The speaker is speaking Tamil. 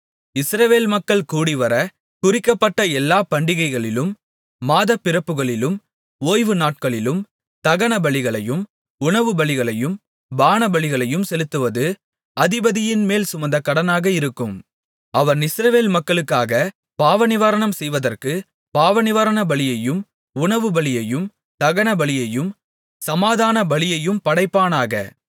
இஸ்ரவேல் மக்கள் கூடிவர குறிக்கப்பட்ட எல்லா பண்டிகைகளிலும் மாதப்பிறப்புகளிலும் ஓய்வு நாட்களிலும் தகனபலிகளையும் உணவுபலிகளையும் பானபலிகளையும் செலுத்துவது அதிபதியின்மேல் சுமந்த கடனாக இருக்கும் அவன் இஸ்ரவேல் மக்களுக்காகப் பாவநிவாரணம் செய்வதற்கு பாவநிவாரணபலியையும் உணவுபலியையும் தகனபலியையும் சமாதானபலியையும் படைப்பானாக